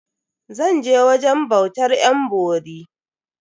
Zan je wajen bautar yan bori.